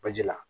Baji la